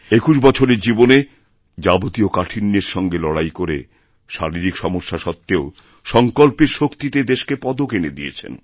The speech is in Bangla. একুশ বছরের জীবনে যাবতীয় কাঠিণ্যেরসঙ্গে লড়াই করে শারীরিক সমস্যা সত্বেও সঙ্কল্পের শক্তিতে দেশকে পদক এনে দিয়েছেন